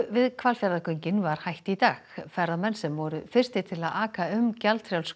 við Hvalfjarðargöngin var hætt í dag ferðamenn sem voru fyrstir til að aka um gjaldfrjáls